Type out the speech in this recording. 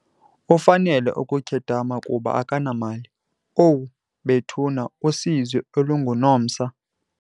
Ufanele ukukhedama kuba akanamali. owu bethuna usizi olunguNomsa!